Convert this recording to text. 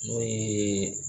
N'o ye